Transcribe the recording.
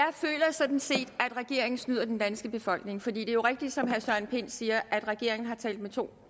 sådan set at regeringen snyder den danske befolkning for det er jo rigtigt som herre søren pind siger at regeringen har talt med to